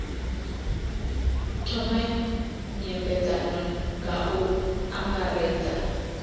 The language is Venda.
thome nymbedzano nga u angaredza